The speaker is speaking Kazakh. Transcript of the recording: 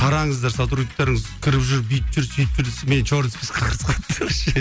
қараңыздар сотрудниктарыңыз кіріп жүр бүйтіп жүр сүйтіп жүр десем мені черный списокка кіргізіп қойыпты вообще